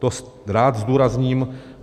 To rád zdůrazním.